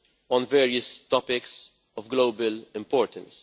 on various topics of global importance.